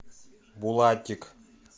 булатик